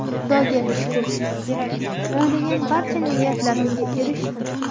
Xudoga shukr, o‘ylagan barcha niyatlarimga erishdim.